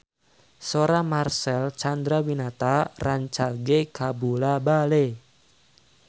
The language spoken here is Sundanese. Sora Marcel Chandrawinata rancage kabula-bale